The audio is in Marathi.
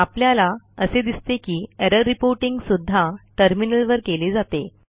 आपल्याला असे दिसते की एरर रिपोर्टिंग सुध्दा टर्मिनलवर केले जाते